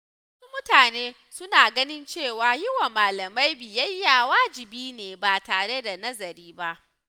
Wasu mutane suna ganin cewa yi wa malamai biyayya wajibi ne ba tare da nazari ba.